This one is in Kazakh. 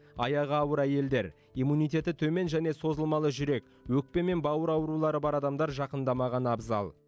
аяғы ауыр әйелдер иммунитеті төмен және созылмалы жүрек өкпе мен бауыр аурулары бар адамдар жақындамағаны абзал